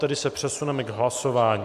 Tedy se přesuneme k hlasování.